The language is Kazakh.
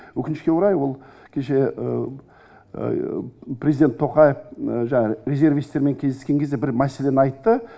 өкінішке орай ол кеше президент тоқаев жаңағы резервистермен кездескен кезде бір мәселені айтты